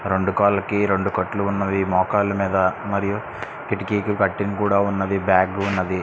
రెండు కాళ్ళకి రెండు కట్లు ఉన్నవి. మోకాలు మీద మరియు కిటికీకి ఉన్నది . బాగ్ ఉన్నది.